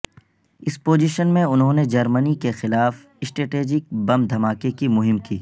اس position میں انہوں نے جرمنی کے خلاف اسٹریٹجک بم دھماکے کی مہم کی